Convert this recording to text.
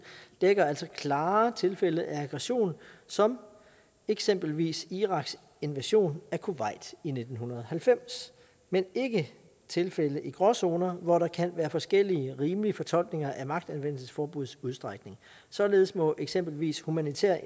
dækker altså klare tilfælde af aggression som eksempelvis iraks invasion af kuwait i nitten halvfems men ikke tilfælde i gråzoner hvor der kan være forskellige rimelige fortolkninger af magtanvendelsesforbuddets udstrækning således må eksempelvis humanitære